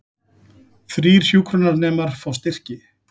Þrír hjúkrunarnemar fá styrki